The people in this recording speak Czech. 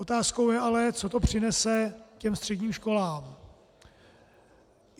Otázkou ale je, co to přinese těm středním školám.